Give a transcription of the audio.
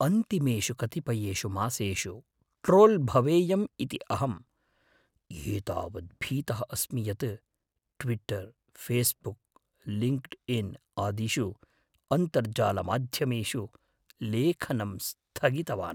अन्तिमेषु कतिपयेषु मासेषु ट्रोल् भवेयम् इति अहं एतावत् भीतः अस्मि यत् ट्विट्टर्, फ़ेस्बुक्, लिङ्क्ड्इन् आदिषु अन्तर्जालमाध्यमेषु लेखनं स्थगितवान्।